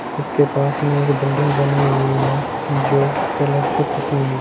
इसके पास में एक बिल्डिंग बनी हुई है जो कलर से पुती हुई--